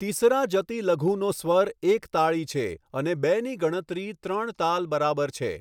તીસરા જતિ લઘુનો સ્વર એક તાળી છે અને બેની ગણતરી ત્રણ તાલ બરાબર છે.